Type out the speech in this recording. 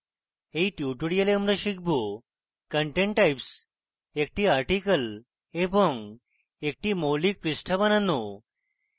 in tutorial আমরা শিখব: content types একটি article এবং একটি মৌলিক পৃষ্ঠা বানানো